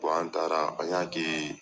an taara an y'a kɛ